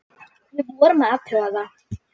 Við vorum að athuga það.